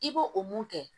I b'o o mun kɛ